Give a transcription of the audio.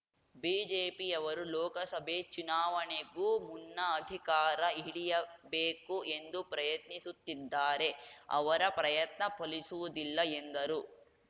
ಬಿಜೆಪಿಯವರು ಲೋಕಸಭೆ ಚುನಾವಣೆಗೂ ಮುನ್ನ ಅಧಿಕಾರ ಹಿಡಿಯಬೇಕು ಎಂದು ಪ್ರಯತ್ನಿಸುತ್ತಿದ್ದಾರೆ ಅವರ ಪ್ರಯತ್ನ ಫಲಿಸುವುದಿಲ್ಲ ಎಂದರು